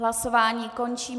Hlasování končím.